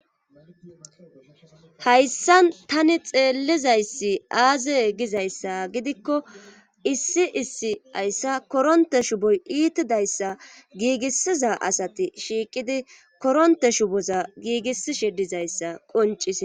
hayssan tani xeellizayssi aaze gizayssa gidikko issi issi hayssa koronte shuboy iitidayssa giigissiza asati shiiqidi koronte shuboza giigissishe dizayssa qoncis